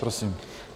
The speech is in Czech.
Prosím.